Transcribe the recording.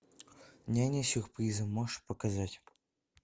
няня с сюрпризом можешь показать